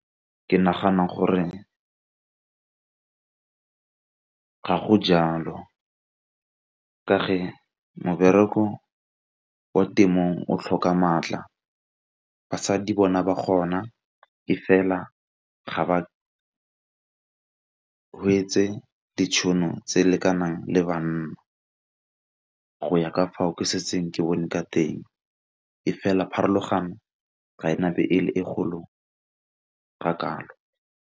Ke nagana gore ga go jalo ka fa mobereko kwa temong o tlhoka maatla, basadi bona ba kgona e fela ga ba ditšhono tse lekanang le banna go ya ka fao ke setseng ke bone ka teng, e fela pharologano ga ena be e le e kgolo ga kalo.